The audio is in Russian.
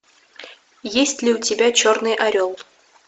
есть ли у тебя черный орел